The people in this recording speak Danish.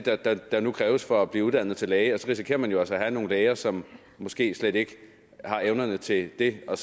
der nu kræves for at blive uddannet til læge og så risikerer man jo altså at få nogle læger som måske slet ikke har evnerne til det og